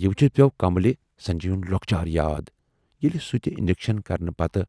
یہِ وُچھِتھ پٮ۪و کملہِ سنجے یُن لۅکچار یاد ییلہِ سُہ تہِ انجکشن کرنہٕ پتہٕ